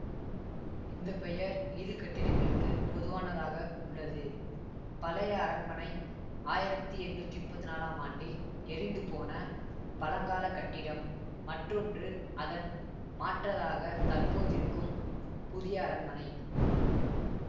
இந்த பெயர் இரு கட்டிடங்களுக்கு பொதுவானதாக உள்ளது பழைய அரண்மனை ஆயிரத்தி எண்ணூத்தி முப்பத்தி நாலாம் ஆண்டில் எரிந்துபோன பழங்கால கட்டிடம் மற்றொன்று அதன் மாற்றதாக தற்போதிருக்கும் புதிய அரண்மனை